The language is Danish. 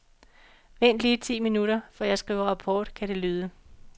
Vent lige ti minutter, for jeg skriver rapport, kan det lyde.